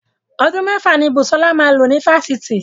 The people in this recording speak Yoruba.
Ọdún mẹ́fà ni Busola máa lò ní Fáṣítì.